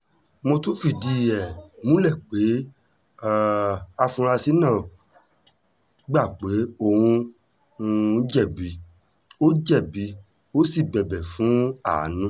mo tún fìdí ẹ̀ múlẹ̀ pé um afurasí náà gbà pé òun um jẹ̀bi ó jẹ̀bi ó sì bẹ̀bẹ̀ fún àánú